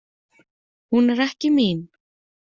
Hún er ekki mín.